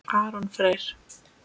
Aron Freyr.